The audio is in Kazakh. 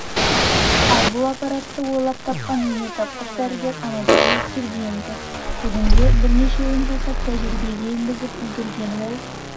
ал бұл аппаратты ойлап тапқан өнертапқыш дәрігер анатолий сергиенко бүгінде бірнешеуін жасап тәжірибеге енгізіп үлгерген ол